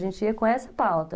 A gente ia com essa pauta.